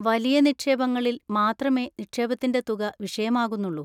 വലിയ നിക്ഷേപങ്ങളിൽ മാത്രമേ നിക്ഷേപത്തിന്‍റെ തുക വിഷയമാകുന്നുള്ളൂ..